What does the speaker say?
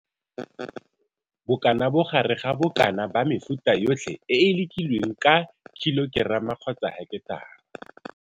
Bokanabogare ga bokana ba mefuta yotlhe e e lekilweng ka kg kgotsa ha.